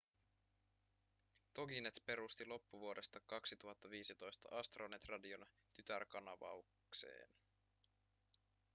toginet perusti loppuvuodesta 2015 astronet radion tytärkanavakseen